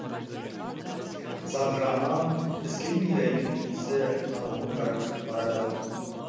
зағра нан піскен бидайдың иісі танауын жарып барады ау